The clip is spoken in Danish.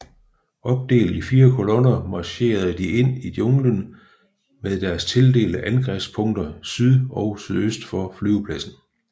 Opdelt i fire kolonner marcherede de ind i junglen mod deres tildelte angrebspunkter syd og sydøst for flyvepladsen